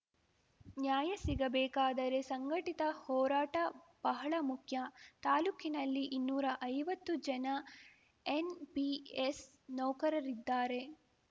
ನ್ಯಾಯ ಸಿಗಬೇಕಾದರೆ ಸಂಘಟಿತ ಹೋರಾಟ ಬಹಳ ಮುಖ್ಯ ತಾಲೂಕಿನಲ್ಲಿ ಇನ್ನೂರಾ ಐವತ್ತು ಜನ ಎನ್‌ಪಿಎಸ್‌ ನೌಕರರಿದ್ದಾರೆ